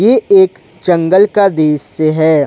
ये एक जंगल का दृश्य है।